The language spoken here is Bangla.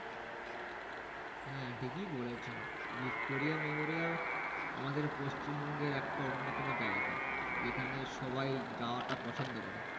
হ্যাঁ ঠিকই বলেছো। ভিক্টোরিয়া মেমোরিয়াল আমাদের পশ্চিমবঙ্গের একটা অন্যতম জায়গা। যেখানে সবাই যাওয়াটা পছন্দ করে।